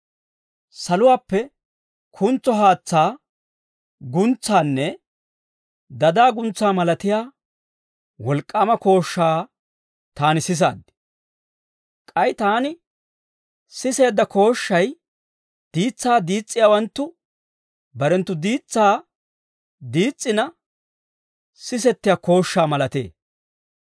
Saluwaappe kuntso haatsaa guntsaanne dadaa guntsaa malatiyaa wolk'k'aama kooshshaa taani sisaad. K'ay taani siseedda kooshshay diitsaa diis's'iyaawanttu barenttu diitsaa diis's'ina sisetiyaa kooshshaa malatee.